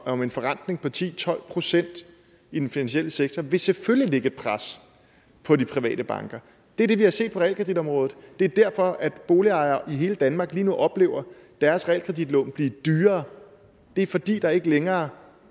om en forrentning på ti til tolv procent i den finansielle sektor vil selvfølgelig lægge et pres på de private banker det er det vi har set på realkreditområdet det er derfor boligejere i hele danmark lige nu oplever deres realkreditlån blive dyrere det er fordi der ikke længere